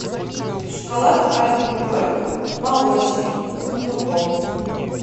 шоколад альпен гольд молочный с фундуком